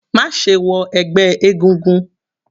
Má ṣe wọ ẹgbẹ́ egúngún.